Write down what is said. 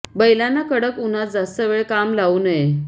बैलांना कडक उन्हात जास्त वेळ काम लावू नये